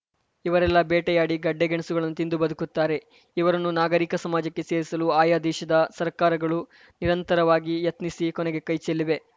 ಇವರೆಲ್ಲ ಬೇಟೆಯಾಡಿ ಗಡ್ಡೆ ಗೆಣಸುಗಳನ್ನು ತಿಂದು ಬದುಕುತ್ತಾರೆ ಇವರನ್ನು ನಾಗರಿಕ ಸಮಾಜಕ್ಕೆ ಸೇರಿಸಲು ಆಯಾ ದೇಶದ ಸರ್ಕಾರಗಳು ನಿರಂತರವಾಗಿ ಯತ್ನಿಸಿ ಕೊನೆಗೆ ಕೈಚೆಲ್ಲಿವೆ